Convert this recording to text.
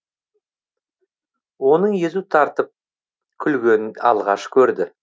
оның езу тартып күлгенін алғаш көрді